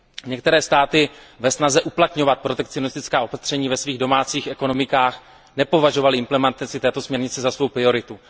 Některé státy ve snaze uplatňovat protekcionistická opatření ve svých domácích ekonomikách nepovažovaly implementaci této směrnice za svou prioritu.